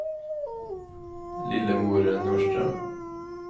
Lillemor Norström